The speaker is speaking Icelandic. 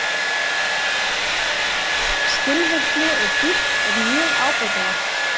Skilvirkni og dýpt er mjög ábótavant